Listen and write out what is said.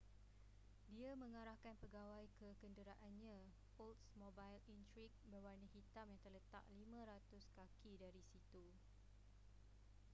dia mengarahkan pegawai ke kenderaannya oldsmobile intrigue berwarna hitam yang terletak 500 kaki dari situ